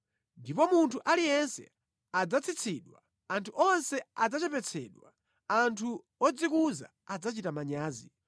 Ndipo munthu aliyense adzatsitsidwa, anthu onse adzachepetsedwa, anthu odzikuza adzachita manyazi.